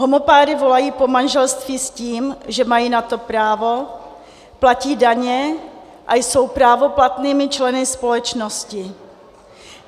Homopáry volají po manželství s tím, že mají na to právo, platí daně a jsou právoplatnými členy společnosti.